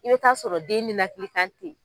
I bɛ taa sɔrɔ den nenakili kan ten.